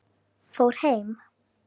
Fór heim?